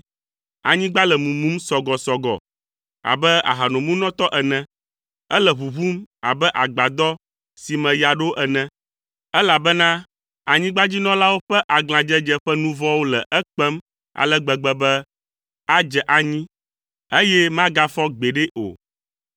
Anyigba le mumum sɔgɔsɔgɔ abe ahanomunɔtɔ ene, ele ʋuʋum abe agbadɔ si me ya ɖo ene, elabena anyigbadzinɔlawo ƒe aglãdzedze ƒe nu vɔ̃wo le ekpem ale gbegbe be adze anyi, eye magafɔ gbeɖe o.